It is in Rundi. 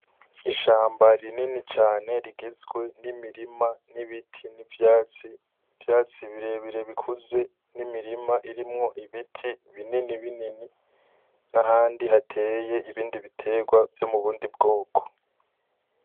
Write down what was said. Ishamba rinini cane rigizwe n'imirima, n'ibiti n'ivyatsi, ivyatsi birebire bikuze n'imirima irimo ibiti binini binini nahandi hateye ibiterwa vyomubundi bwoko.